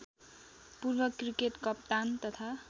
पूर्वक्रिकेट कप्तान तथा